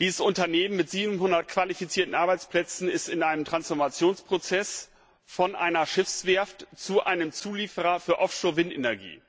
Dieses Unternehmen mit 700 qualifizierten Arbeitsplätzen ist in einem Transformationsprozess von einer Schiffswerft zu einem Zulieferer für Offshore Windenergie.